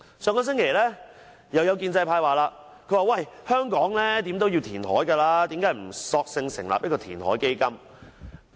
上星期有建制派議員說，"香港無可避免要填海，何不成立填海基金"。